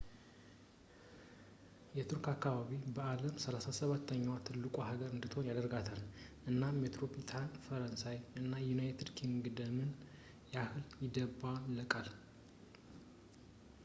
የቱርክ አከባቢ በዓለም 37 ኛዋ ትልቁ ሀገር እንድትሆን ያደርጋታል ፣ እና የሜትሮፖሊታን ፈረንሳይ እና የዩናይትድ ኪንግደምን ያህል ይደባለቃል